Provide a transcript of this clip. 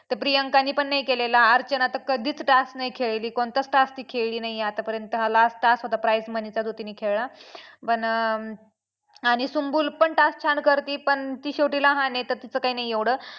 तर प्रियांकाने पण नाही केलेला अर्चना तर कधीच task नाही खेळली कोणताच task ती खेळली नाही आहे आतापर्यंत हा last task जो price money चा तिने खेळला पण अं आणि सुम्बूल पण task छान करती पण ती शेवटी लहान आहे तिचं काय नाही एवढं.